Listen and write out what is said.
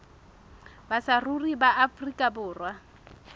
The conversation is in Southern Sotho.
ba saruri ba afrika borwa